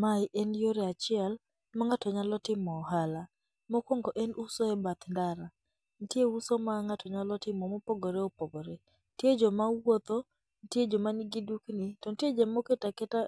Ma en yore achiel ma ng'ato nyalo timo ohala. Mokuongo en uso e bath ndara. Nitie uso ma ng'ato nyalo timo mopogore opogore. Nitie joma wuotho, nitie joma nigi dukni to nitie joma oketa keta